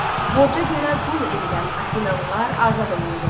Borca görə qul edilən afinalılar azad olundu.